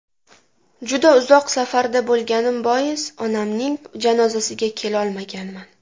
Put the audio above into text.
Juda uzoq safarda bo‘lganim bois, onamning janozasiga kelolmaganman.